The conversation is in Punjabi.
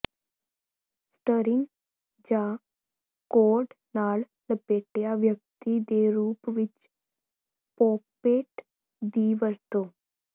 ਸਟਰਿੰਗ ਜਾਂ ਕੋਰਡ ਨਾਲ ਲਪੇਟਿਆ ਵਿਅਕਤੀ ਦੇ ਰੂਪ ਵਿੱਚ ਪੋਪਪੇਟ ਦੀ ਵਰਤੋਂ